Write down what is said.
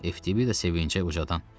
FTBida sevincə ucadı: